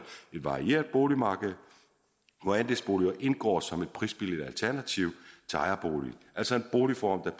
et varieret boligmarked hvor andelsboliger indgår som et prisbilligt alternativ til ejerbolig altså en boligform